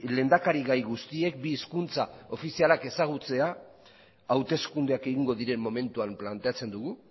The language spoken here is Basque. lehendakari gai guztiek bi hizkuntza ofizialak ezagutzea hauteskundeak egingo diren momentuan planteatzen dugu